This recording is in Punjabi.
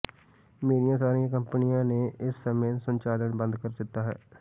ਮੇਰੀਆਂ ਸਾਰੀਆਂ ਕੰਪਨੀਆਂ ਨੇ ਇਸ ਸਮੇਂ ਸੰਚਾਲਨ ਬੰਦ ਕਰ ਦਿੱਤਾ ਹੈ